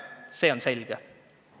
See on selge.